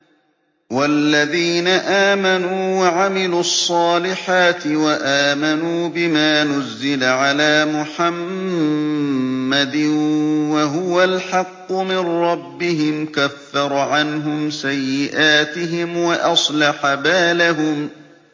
وَالَّذِينَ آمَنُوا وَعَمِلُوا الصَّالِحَاتِ وَآمَنُوا بِمَا نُزِّلَ عَلَىٰ مُحَمَّدٍ وَهُوَ الْحَقُّ مِن رَّبِّهِمْ ۙ كَفَّرَ عَنْهُمْ سَيِّئَاتِهِمْ وَأَصْلَحَ بَالَهُمْ